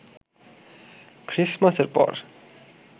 খ্রিসমাসের পর